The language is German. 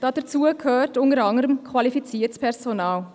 Dazu gehört unter anderem qualifiziertes Personal.